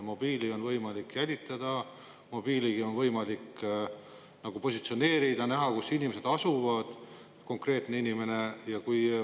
Mobiili on võimalik jälitada, mobiili on võimalik positsioneerida, näha, kus inimene asub, see konkreetne inimene.